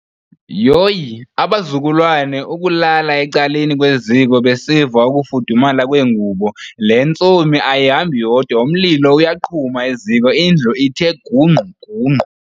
Yoyi abazukulwane ukulala ecaleni kweziko besiva ukufudumala kwegubo le ntsomi ayihambi yodwa umlilo uyaqhuma eziko indlu ithe gungqu gungqu.